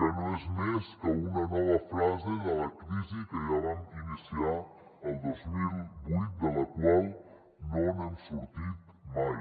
que no és més que una nova fase de la crisi que ja vam iniciar el dos mil vuit de la qual no hem sortit mai